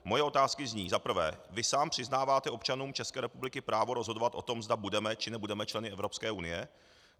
Moje otázky zní: Za prvé - vy sám přiznáváte občanům České republiky právo rozhodovat o tom, zda budeme, či nebudeme členy Evropské unie?